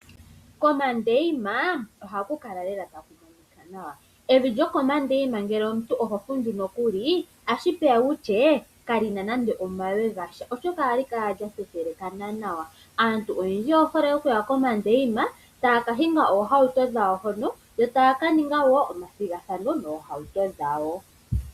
Komandeima ohaku kala lela taku monika nawa, evi lyokomandeina ngele omuntu oho fundju nokuli ashipeya wutye kalina nande omawe gasha oshoka ohali kala lyathethelekana nawa. Aantu oyendji oye hole okuya komandeima taya kahinga ohauto dhawo hono yo taya kaninga wo omathigathano nohauto dhawo.